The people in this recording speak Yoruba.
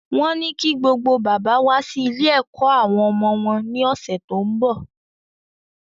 Wọ́n ní kí gbogbo bàbá wá sí ilé-ẹ̀kọ́ àwọn ọmọ wọn ní ọ̀sẹ̀ tó ń bọ̀.